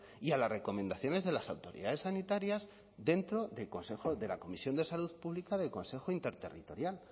y a las recomendaciones de las autoridades sanitarias dentro del consejo de la comisión de salud pública del consejo interterritorial